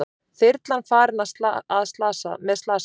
Þyrlan farin með slasaða